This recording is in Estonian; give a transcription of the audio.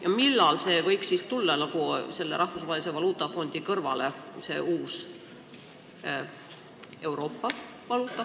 Ja millal see uus Euroopa valuutafond võiks Rahvusvahelise Valuutafondi kõrvale tulla?